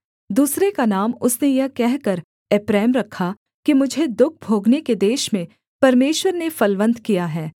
दूसरे का नाम उसने यह कहकर एप्रैम रखा कि मुझे दुःख भोगने के देश में परमेश्वर ने फलवन्त किया है